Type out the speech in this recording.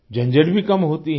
झंझट भी कम होती है